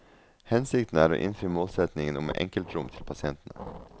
Hensikten er å innfri målsetningen om enkeltrom til pasientene.